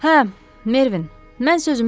Hə, Mervin, mən sözümü dedim.